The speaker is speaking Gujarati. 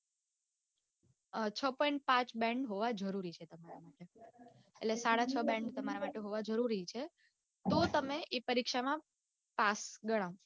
છ પોઇન્ટ પાંચ band હોવા જરૂરી છે તમારા માટે એટલે સડા છ band તમારા માટે હોવા જરૂરી છે તો તે પરીક્ષામાં પાસ ગણાઓ.